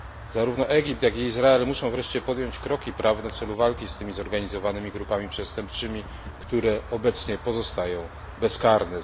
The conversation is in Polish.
Zarówno Egipt, jak i Izrael muszą wreszcie podjąć kroki prawne w celu walki z tymi zorganizowanymi grupami przestępczymi, które obecnie pozostają bezkarne.